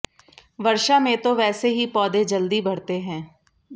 वर्षा में तो वैसे ही पौधे जल्दी बढ़ते हैं